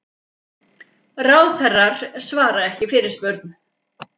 Ráðherrar svara ekki fyrirspurn